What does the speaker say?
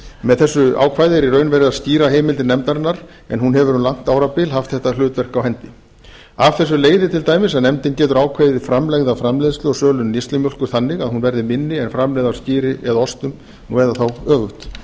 með þessu ákvæði er í raun verið að skýra heimildir nefndarinnar en hún hefur um langt árabil haft þetta hlutverk á hendi af þessu leiðir til dæmis að nefndin getur ákveðið framlegð af framleiðslu og sölu neyslumjólkur þannig að hún verði minni en framlegð á skyri eða ostum eða þá öfugt